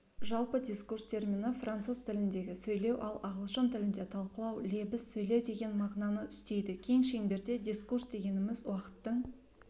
жалпы дискурс термині француз тіліндегі сөйлеу ал ағылшын тілінде талқылау лебіз сөйлеу деген мағынаны үстейдікең шеңберде дискурсдегеніміз уақыттың